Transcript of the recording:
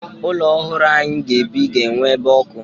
Ụlọ ọhụrụ anyị ga-ebi ga-enwe ebe ọkụ.